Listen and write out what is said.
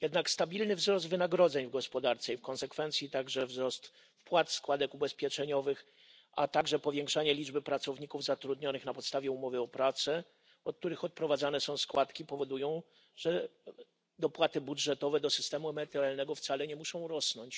Stabilny wzrost wynagrodzeń w gospodarce i w konsekwencji także wzrost wpłat składek ubezpieczeniowych, a także wzrost liczby pracowników zatrudnionych na podstawie umowy o pracę, od których odprowadzane są składki, powodują jednak, że dopłaty budżetowe do systemu emerytalnego wcale nie muszą rosnąć.